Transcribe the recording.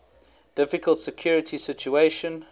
difficult security situation